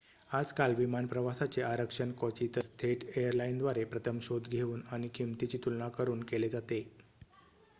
आजकाल विमान प्रवासाचे आरक्षण क्वचितच थेट एयरलाईनद्वारे प्रथम शोध घेऊन आणि किंमतींची तुलना करुन केले जाते